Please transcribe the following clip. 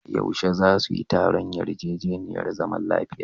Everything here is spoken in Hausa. Yaushe za su yi taron yarjejeniyar zaman lafiya?